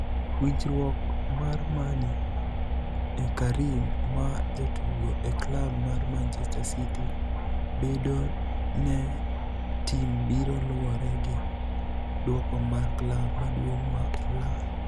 (Stanidard)Winijruok marMani e karim ma jatugo e klab mar Manichester City bedoni e e tim biro luwore gi duoko mar klab maduonig ma ulaya